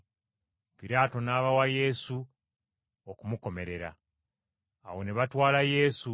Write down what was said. Piraato n’abawa Yesu okumukomerera. Awo ne batwala Yesu;